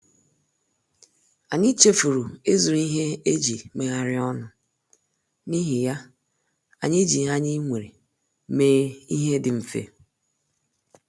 Anyị chefuru ịzụrụ ihe eji megharịa ọnụ, n’ihi ya, anyị ji ihe anyị nwere mee ihe dị mfe